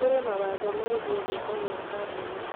Kũrĩ mawatho megiĩ gĩko gĩa kambuni